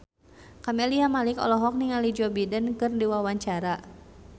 Camelia Malik olohok ningali Joe Biden keur diwawancara